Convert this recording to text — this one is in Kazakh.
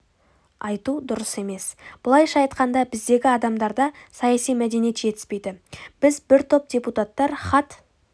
айту дұрыс емес былайша айтқанда біздегі адамдарда саяси мәдениет жетіспейді біз бір топ депутаттар хат